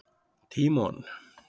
Tímon